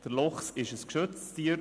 Er ist ein geschütztes Tier.